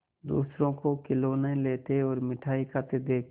दूसरों को खिलौना लेते और मिठाई खाते देखकर